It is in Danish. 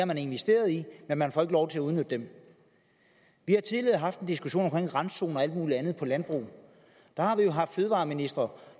man investeret i men man får ikke lov til at udnytte dem vi har tidligere haft en diskussion om randzoner og alt muligt andet i landbruget der har vi jo haft fødevareministre